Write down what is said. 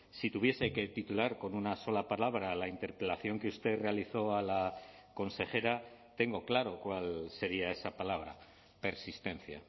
si tuviese que titular con una sola palabra la interpelación que usted realizó a la consejera tengo claro cuál sería esa palabra persistencia